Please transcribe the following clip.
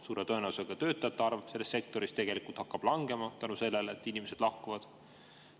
Suure tõenäosusega hakkab töötajate arv selles sektoris langema seetõttu, et inimesed lahkuvad.